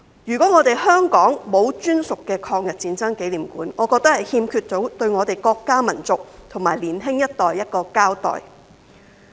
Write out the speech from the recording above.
如果香港沒有專屬的抗日戰爭紀念館，我覺得對我們國家民族和年輕一代欠缺一個交代。